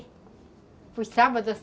Foi sábado ou